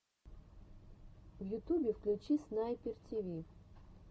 в ютубе включи снайпер тиви